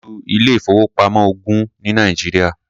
A ní ju ilé-ìfowópamọ́ ogún ní Nàìjíríà.